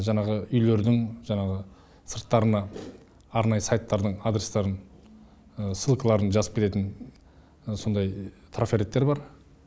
жаңағы үйлердің жаңағы сырттарына арнайы сайттардың адрестарын ссылкаларын жазып кететін сондай трафареттер бар